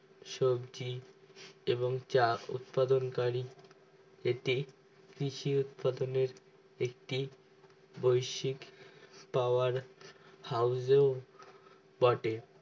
সবজি এবং চা উৎপাদন করি এটি কৃষি উৎপাদনের একটি বৈশিক power house বটে